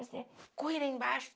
Ai, comecei a correr lá embaixo.